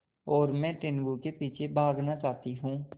और मैं टीनगु के पीछे भागना चाहती हूँ